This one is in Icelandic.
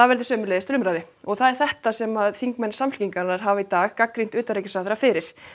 verði sömuleiðis til umræðu og það er þetta sem þingmenn Samfylkingarinnar hafa í dag gagnrýnt utanríkisráðherra fyrir